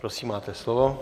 Prosím, máte slovo.